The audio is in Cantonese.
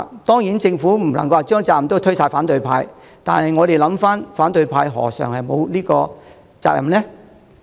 當然，政府不能將全部責任都推給反對派，但請想一想，反對派又何嘗沒有責任呢？